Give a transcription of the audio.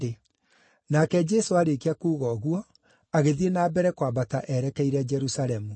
Nake Jesũ aarĩkia kuuga ũguo, agĩthiĩ na mbere kwambata erekeire Jerusalemu.